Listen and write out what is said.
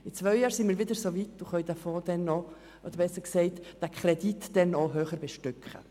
In zwei Jahren sind wir wieder so weit und können diesen Kredit höher bestücken.